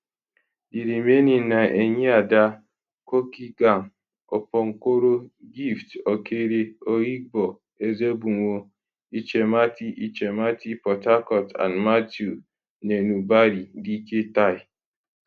di remaining na enyiada cookeygam opobonkoro gift okere oyigbo ezebunwo ichemati ichemati port harcourt and matthew nenubari dike tai